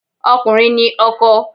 Ọkùnrin ni ọkọ.